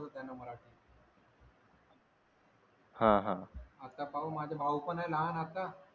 आता पाहू माझे भाऊ पण आहे लहान आता